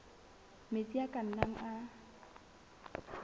metsi a ka nnang a